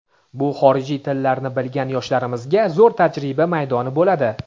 bu xorijiy tillarni bilgan yoshlarimizga zo‘r tajriba maydoni bo‘ladi.